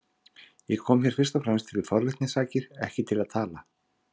Ég kom hér fyrst og fremst fyrir forvitni sakir, ekki til að tala.